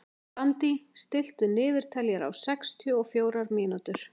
Randí, stilltu niðurteljara á sextíu og fjórar mínútur.